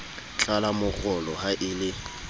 tlala morolo ha e le